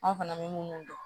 An fana bɛ minnu dɔn